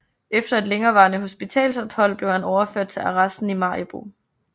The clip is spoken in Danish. Efter et længerevarende hospitalsophold blev han overført til arresten i Maribo